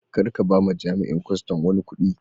Kar ka ba ma jami'in kwastam wani kudi.